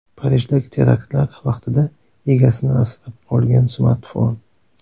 Parijdagi teraktlar vaqtida egasini asrab qolgan smartfon.